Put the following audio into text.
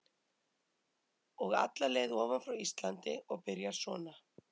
Og alla leið ofan frá Íslandi og byrjar svona